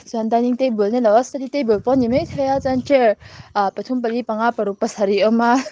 suan dining table nilo a study table pawh ani ani maithei a chuan chair pathum pali panga paruk pasarih a awm a.